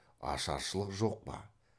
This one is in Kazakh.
ашаршылық жоқ па